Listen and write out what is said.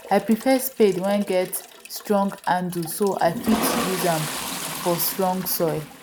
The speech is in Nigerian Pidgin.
i prefare spade wen get strong handle so i fit use am for strong soil